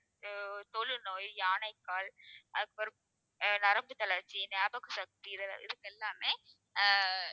அஹ் தொழுநோய், யானைக்கால் அதுக்கப்புறம் ஆஹ் நரம்புத்தளர்ச்சி, ஞாபக சக்தி இது~ இதுக்கெல்லாமே ஆஹ்